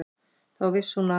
Þá vissi hún að